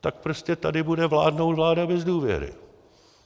Tak prostě tady bude vládnout vláda bez důvěry.